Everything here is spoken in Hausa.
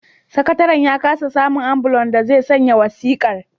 Sakataren ya kasa samun ambulan da zai sanya wasiƙar